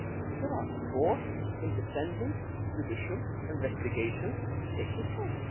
There are four independent judicial investigations taking place.